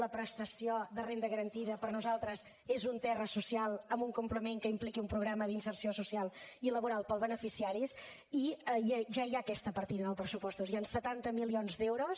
la prestació de renda garantida per nosaltres és un terra social amb un complement que impliqui un programa d’inserció social i laboral per als beneficiaris i ja hi ha aquesta partida en els pressupostos hi han setanta milions d’euros